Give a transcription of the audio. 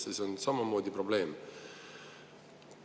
See on samamoodi probleem.